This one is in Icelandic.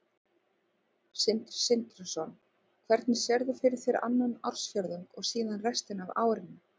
Sindri Sindrason: Hvernig sérðu fyrir þér annan ársfjórðung og síðan restina af árinu?